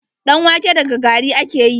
Ɗan wake daga gari ake yi.